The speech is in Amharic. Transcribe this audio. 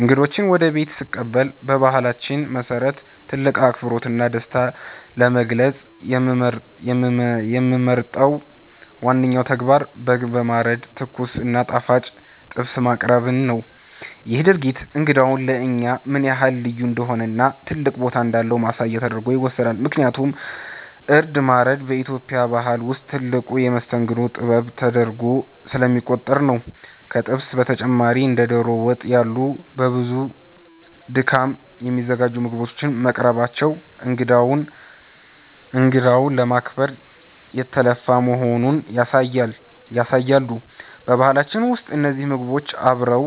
እንግዶችን ወደ ቤቴ ስቀበል በባህላችን መሰረት ትልቅ አክብሮትና ደስታን ለመግለጽ የምመርጠው ዋነኛው ተግባር በግ በማረድ ትኩስ እና ጣፋጭ ጥብስ ማቅረብን ነው። ይህ ድርጊት እንግዳው ለእኛ ምን ያህል ልዩ እንደሆነና ትልቅ ቦታ እንዳለው ማሳያ ተደርጎ ይወሰዳል፤ ምክንያቱም እርድ ማረድ በኢትዮጵያ ባህል ውስጥ ትልቁ የመስተንግዶ ጥበብ ተደርጎ ስለሚቆጠር ነው። ከጥብሱ በተጨማሪ እንደ ዶሮ ወጥ ያሉ በብዙ ድካም የሚዘጋጁ ምግቦች መቅረባቸው እንግዳውን ለማክበር የተለፋ መሆኑን ያሳያሉ። በባህላችን ውስጥ እነዚህ ምግቦች አብረው